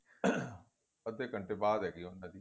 caughing ਅੱਦੇ ਘੰਟੇ ਬਾਅਦ ਹੈਗੀ ਏ ਉਹਨਾ ਦੀ